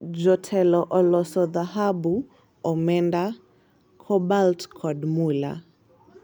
MANAGEM oloso dhahabu, omenda, kobalt kod mula.